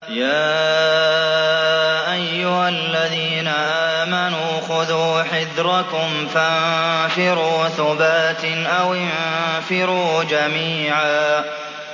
يَا أَيُّهَا الَّذِينَ آمَنُوا خُذُوا حِذْرَكُمْ فَانفِرُوا ثُبَاتٍ أَوِ انفِرُوا جَمِيعًا